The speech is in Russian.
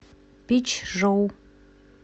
пичжоу